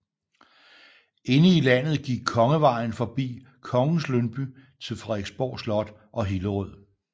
Inde i landet gik Kongevejen forbi Kongens Lyngby til Frederiksborg Slot og Hillerød